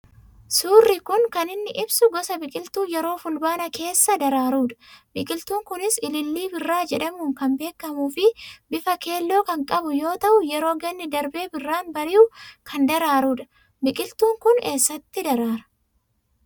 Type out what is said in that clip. Suurri kun kan inni ibsu gosa biqiltuu yeroo fulbaanaa keessa daraaru dha. Biqiltuun Kunis ilillii birraa jedhamuun kan beekamu fi bifa keelloo kan qabu yoo ta'u yeroo ganni darbee birraan bari'u kan daraaru dha. Biqiltuun kun eessatti daraara ?